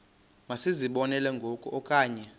masizibonelele ngoku okanye